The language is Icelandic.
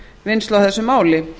vinnslu á þessu máli